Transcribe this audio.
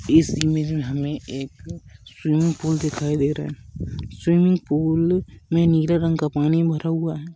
इस इमेज में हमे एक स्विमिंग पूल दिखाई दे रहा है स्विमिंग पूल में नील रंग का पानी भरा हुआ है।